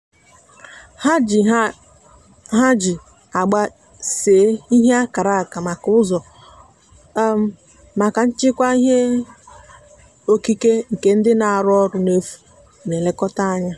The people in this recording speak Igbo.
ha ji ha ji agba see ihe akara maka ụzọ um maka nchekwa ihe okike nke ndị na-arụ ọrụ n'efu na-elekọta anya.